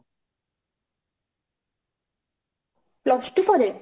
plus two ପରେ?